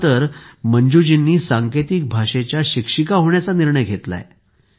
आता तर मंजूजींनीही सांकेतिक भाषेच्या शिक्षिका होण्याचा निर्णय घेतला आहे